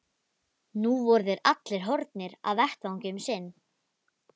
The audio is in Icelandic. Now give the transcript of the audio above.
Nú voru þeir allir horfnir af vettvangi um sinn.